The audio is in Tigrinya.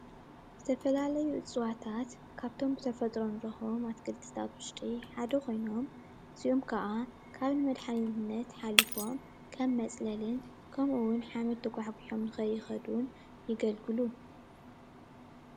ዝተፈላለዩ እፅዋታት ካብቶም ብተፈጥሮ ንረኽቦም ኣትክልታት ውሽጢ ሓደ ኮይኖም እዚኦም ከኣ ካብ ምድሓንነት ሓሊፎም ከም መጽለሊን ከምኡ'ውን ሓሚድ ተጓሕጒሖም ንኸይኸይድ እውን የገልግሉ።